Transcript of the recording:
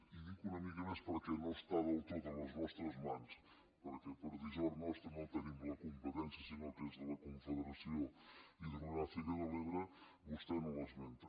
i dic una mica més perquè no està del tot a les nostres mans perquè per dissort nostra no en tenim la competència sinó que és de la confederació hidrogràfica de l’ebre vostè no l’esmenta